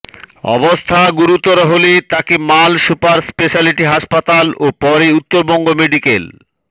অবস্থা গুরুতর হলে তাকে মাল সুপার স্পেশালিটি হাসপাতাল ও পরে উত্তরবঙ্গ মেডিক্যাল